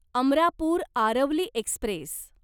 Amarapur Aravali Express